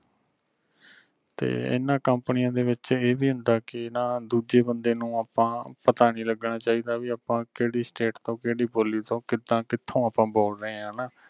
ਤੇ ਐਨਾ ਕੰਪਨੀਆਂ ਦੇ ਵਿਚ ਐਵੀ ਹੁੰਦਾ ਕਿ ਨਾਂ ਦੂਜੇ ਬੰਦੇ ਨੂੰ ਆਪਾਂ ਪਤਾ ਨੀ ਲਗਣਾ ਚਾਹੀਦਾ ਵੀ ਆਪਾਂ ਕਿਹੜੀ state ਤੋਂ ਕਿਹੜੀ ਬੋਲੀ ਤੋਂ ਕਿਦਾਂ ਕਿਥੋਂ ਆਪਾਂ ਬੋਲ ਰਹੇ ਆਂ ਹਣਾ।